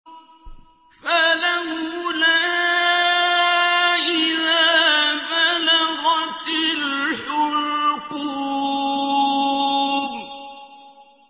فَلَوْلَا إِذَا بَلَغَتِ الْحُلْقُومَ